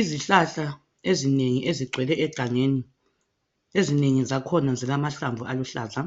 Izihlahla ezinengi ezigcwele egangeni ,ezinengi zakhona zilamahlamvu aluhlaza